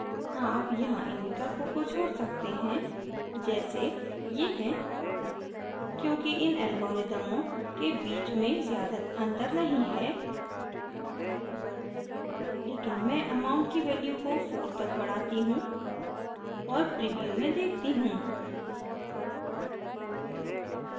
आप यहाँ इन विकल्पों को छोड़ सकते हैं जैसे ये हैं क्योंकि इन अल्गोरीदमों के बीच में ज़्यादा अंतर नहीं है लेकिन मैं amount की value को 4 तक बढ़ाती you और प्रीव्यू में देखती you